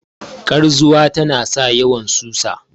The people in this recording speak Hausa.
karzuwa tana sa yawan susa